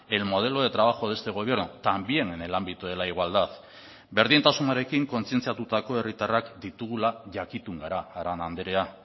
el modelo de trabajo de este gobierno también en el ámbito de la igualdad berdintasunarekin kontzientziatutako herritarrak ditugula jakitun gara arana andrea